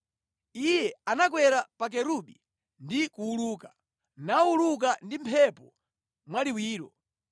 Iye anakwera pa Kerubi ndi kuwuluka; nawuluka ndi mphepo mwaliwiro.